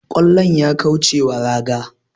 kwallon ya kaucewa raga